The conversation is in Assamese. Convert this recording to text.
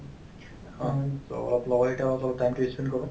so, অলপ লগৰকেইটা অলপ-চলপ time তো ই spend কৰো